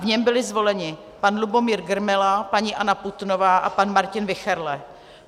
V něm byli zvoleni pan Lubomír Grmela, paní Anna Putnová a pan Martin Wichterle.